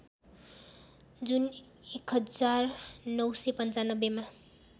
जुन १९९५ मा